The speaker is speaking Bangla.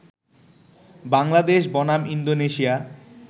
বাংলাদেশ বনাম ইন্দোনেশিয়া